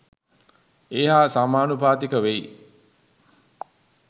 ඒ හා සමානුපාතික වෙයි.